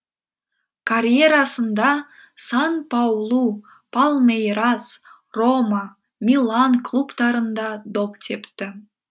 карьерасында сан паулу палмейрас рома милан клубтарында доп тепті